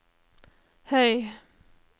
høy